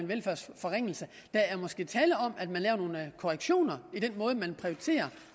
velfærdsforringelse der er måske tale om at man laver nogle korrektioner i den måde man prioriterer